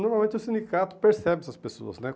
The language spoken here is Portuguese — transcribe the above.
Normalmente o sindicato percebe essas pessoas, né?